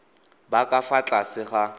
ba ka fa tlase ga